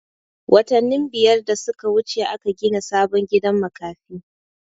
Watanin biyar da suka wuce aka gina sabon gidan makafi